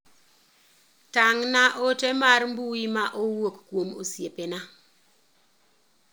Tang' na ote mar mbui ma owuok kuom osiepena.